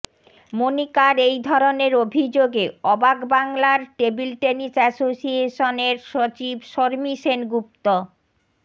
মণিকার এই ধরনের অভিযোগে অবাক বাংলার টেবিল টেনিস অ্যাসোসিয়েশনের সচিব শর্মি সেনগুপ্ত